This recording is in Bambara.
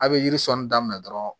A' be yiri sɔɔni daminɛ dɔrɔn